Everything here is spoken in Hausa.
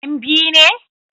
Yan biu ne?